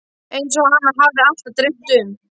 Eins og hana hafði alltaf dreymt um.